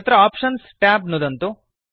तत्र options tab नुदन्तु